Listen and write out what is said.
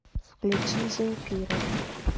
включи земфира